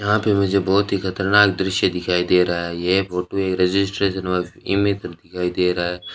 यहां पे मुझे बहुत ही खतरनाक दृश्य दिखाई दे रहा है यह फोटो एक रजिस्ट्रेशन वर्ष ये मेरी तरफ दिखाई दे रहा है।